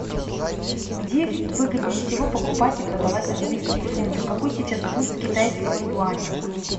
где выгоднее всего покупать и продавать английские фунты какой сейчас курс китайского юаня